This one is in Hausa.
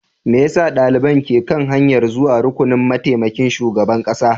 Me yasa daliban ke kan hanyar zuwa rukunin mataimakin shugaban kasa?